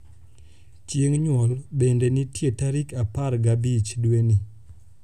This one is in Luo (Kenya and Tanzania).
chieng nyuol bende nitie tarik apar ga abich dweni